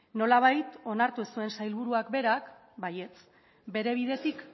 nolabait onartu zuen sailburuak berak baietz bere bidetik